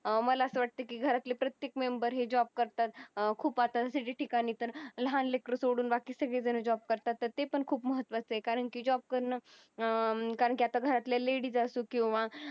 अं मला असं वाटतं की घरातल्या प्रत्येक member हे job करतात खूप आता ठिकाणी तर लहान लेकरू सोडून बाकी सगळेजण job करतात ते पण खूप महत्त्वाचा आहे कारण की job करन कारण की आता घरातल्या ladies असो किंवा